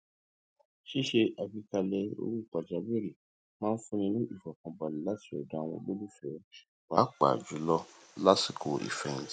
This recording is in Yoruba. ṣíṣe àgbékalẹ owó pàjáwìrì máa n fúnni ní ìfọkànbalẹ láti ọdọ àwọn olólùfẹ pàápàá jùlọ lásìkò ìfẹhìntì